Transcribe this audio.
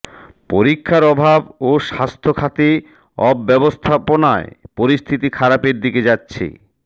পরীক্ষার অভাব ও স্বাস্থ্যখাতে অব্যবস্থাপনায় পরিস্থিতি খারাপের দিকে যাচ্ছে